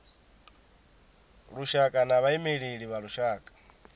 lushaka na vhaimeleli vha lushaka